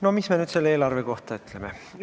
No mis me nüüd selle eelarve kohta ütleme?